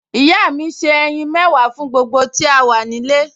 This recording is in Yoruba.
Ìyá mi se ẹyin mẹ́wàá fún gbogbo tí a wà nílé